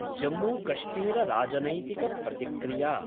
जम्मूकश्मीरराजनैतिक प्रतिक्रिया